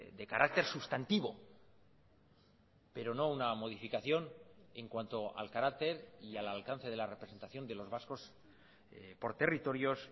de carácter sustantivo pero no una modificación en cuanto al carácter y al alcance de la representación de los vascos por territorios